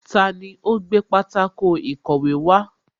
Taani ó gbé pátákó ìkọ̀wé wá